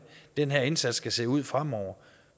den her indsats skal se ud fremover